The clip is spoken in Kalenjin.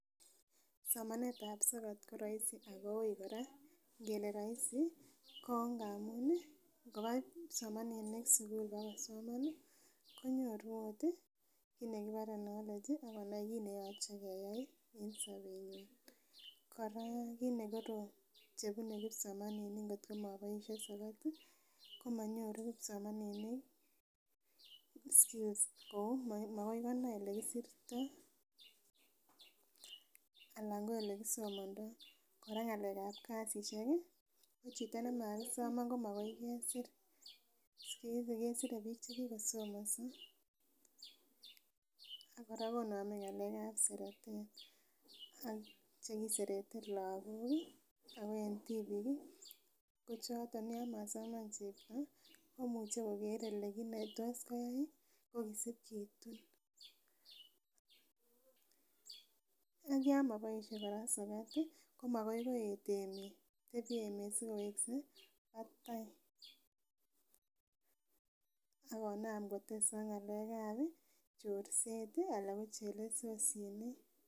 Somanet ab sokat koroisi ako uui kora ngele roisi ko ngamun ih ngokoba kipsomaninik sukul bakosoman ih konyoru ot kit nekibore knowledge akonai kit neyoche keyai en sobetnyin. Kora kit nekorom chebune kipsomaninik ngotko moboisien sokat ih komonyoru kipsomaninik excuse [cs kou makoikonai elekisirtoo ana ko elekisomondaoo, kora ng'alek ab kasisiek ih ko chito nemasoman ko makai kesir siku hizi kesire biik chekikosomonso ak kora konome ng'alek ab seretet ak chekiserete lakok ih ako en tibiik ih ko choton yan masoman chepto komuche koker ele kit netos koyai ot ak yon moboisie kora sokat ih ko makoi koeet emet, tebie emet sikowekse batai ak konam kotesak ng'alek ab chorset ih ana ko chelesosinik